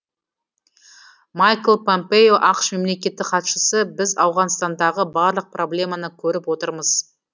майкл помпео ақш мемлекеттік хатшысы біз ауғанстандағы барлық проблеманы көріп отырмыз